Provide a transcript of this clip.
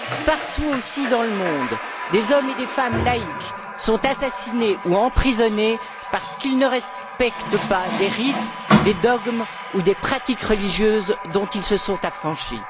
Partout aussi dans le monde, des hommes et des femmes laïcs sont assassinés ou emprisonnés parce qu'ils ne respectent pas des rites, des dogmes ou des pratiques religieuses, dont ils se sont affranchis.